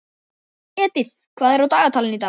Edith, hvað er á dagatalinu í dag?